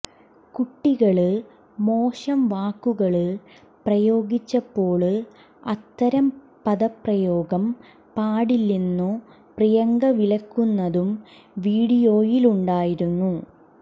കുട്ടികള് മോശം വാക്കുകള് പ്രയോഗിച്ചപ്പോള് അത്തരം പദപ്രയോഗം പാടില്ലെന്നു പ്രിയങ്ക വിലക്കുന്നതും വീഡിയോയിലുണ്ടായിരുന്നു